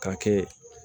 K'a kɛ